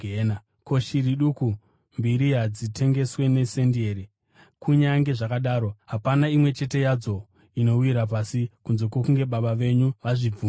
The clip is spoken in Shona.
Ko, shiri duku mbiri hadzitengeswi nesendi here? Kunyange zvakadaro hapana imwe chete yadzo inowira pasi kunze kwokunge Baba venyu vazvibvumira.